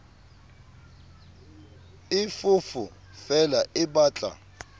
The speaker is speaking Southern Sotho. e foofo feela e batla